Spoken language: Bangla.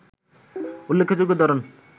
উল্লেখ্যযোগ্য ধরন